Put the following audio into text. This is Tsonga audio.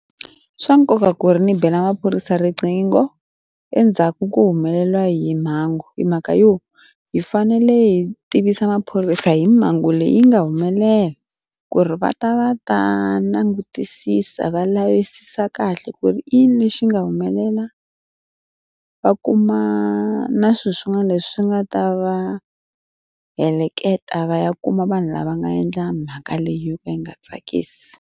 I swa nkoka ku ri ndzi bela maphorisa riqingho endzhaku ko humelela hi mhangu hi mhaka yo hi fanele hi tivisa maphorisa hi mhangu leyi nga humelela ku ri va ta va ta langutisisa va lavisisa kahle ku ri i yini lexi nga humelela va kuma na swilo swin'wana leswi nga ta va heleketa va ya kuma vanhu lava nga endla mhaka leyi yo ka yi nga tsakisi.